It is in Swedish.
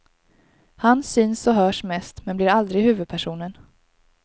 Han syns och hörs mest, men blir aldrig huvudpersonen.